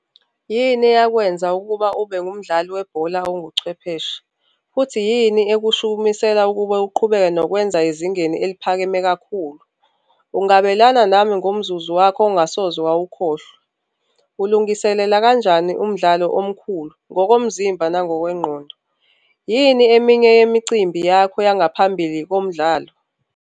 Yini eyakwenza ukuba ube ngumdlali webhola onguchwepheshe, futhi yini ekushukumiseka ukuba uqhubeke nokwenza ezingeni eliphakemeyo kakhulu? Ungabelana nami ngomzuzu wakho ongasoze wawukhohlwa. Ulungiselela kanjani umdlalo omkhulu ngokomzimba nangokwengqondo? Yini eminye yemicimbi yakho yangaphambili komdlalo?